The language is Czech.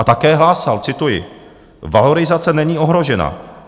A také hlásal, cituji: "Valorizace není ohrožena.